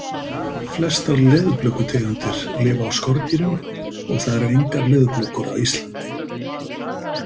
Flestar leðurblökutegundir lifa á skordýrum og það eru engar leðurblökur á Íslandi.